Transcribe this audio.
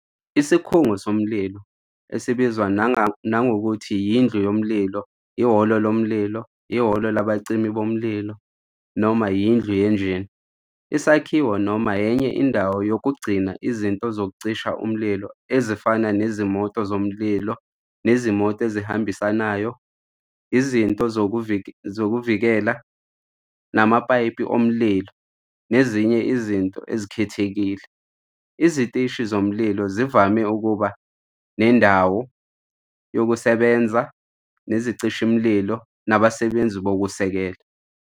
Isikhungo somlilo, esibizwa nangokuthi indlu yomlilo, ihholo lomlilo, ihholo labacimi bomlilo, noma indlu yenjini, isakhiwo noma enye indawo yokugcina izinto zokucisha umlilo ezifana nezimoto zomlilo nezimoto ezihambisanayo, izinto zokuzivikela, amapayipi omlilo nezinye izinto ezikhethekile. Iziteshi zomlilo zivame ukuba nendawo yokusebenza nezicishamlilo nabasebenzi bokusekela.